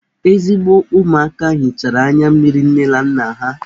Ezigbo ụmụaka hichara anya mmiri nne na nna ha